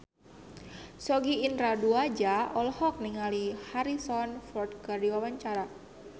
Sogi Indra Duaja olohok ningali Harrison Ford keur diwawancara